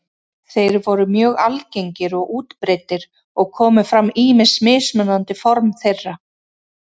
Þeir voru mjög algengir og útbreiddir og komu fram ýmis mismunandi form þeirra.